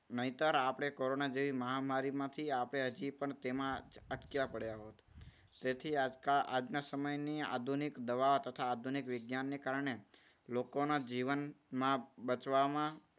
નહિતર આપણે કોરોના જેવી મહામારીમાંથી આપણે હજી પણ તેમાં અટક્યા પડ્યા હોય છે. તેથી આજના સમયની આધુનિક દવા તથા આધુનિક વિજ્ઞાનને કારણે લોકોના જીવનમાં બચવામાં